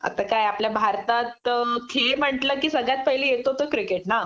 आता काय आपल्या भारतात खेळ म्हटलं कि सगळ्यात पहिलं येतो ते क्रिकेट ना